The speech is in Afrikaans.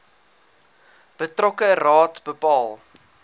betrokke raad bepaal